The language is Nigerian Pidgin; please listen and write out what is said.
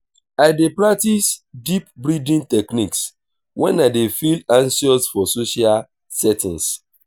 i dey practice deep breathing techniques wen i dey feel anxious for social settings.